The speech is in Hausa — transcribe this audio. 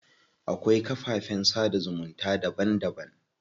Akwai kafafen sada zumunta daban daban.